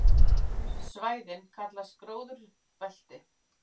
Svæðin kallast gróðurbelti.